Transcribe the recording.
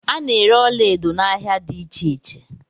A na-ere ọlaedo n'ahia dị iche iche.